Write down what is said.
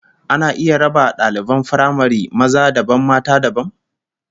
Ana iya raba daliban firamare maza dabam mata dabam?